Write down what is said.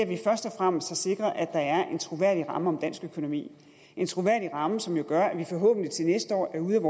vi først og fremmest har sikret at der er en troværdig ramme om dansk økonomi en troværdig ramme som jo gør at vi forhåbentlig til næste år er ude